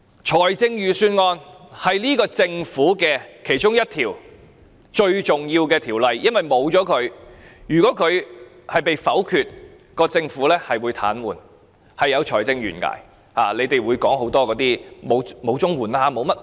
撥款條例草案是政府其中一項非常重要的條例，因為如果被否決，政府便會癱瘓，有財政懸崖，你們會說沒有錢給予綜援等。